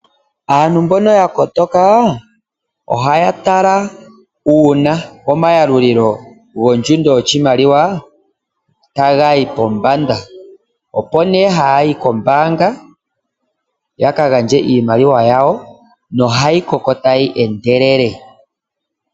Aantu mboka yakotoka ohaya tala uuna omayalulilo gondjundo yoshimaliwa tagayi pombanda, opo ihe haya yi koombaanga yaka gandje iimaliwa yawo, nohayi koko tayi endelele.